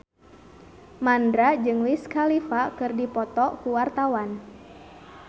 Mandra jeung Wiz Khalifa keur dipoto ku wartawan